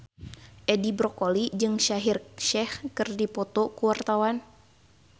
Edi Brokoli jeung Shaheer Sheikh keur dipoto ku wartawan